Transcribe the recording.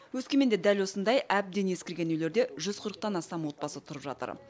өскеменде дәл осындай әбден ескірген үйлерде жүз қырықтан астам отбасы тұрып жатыр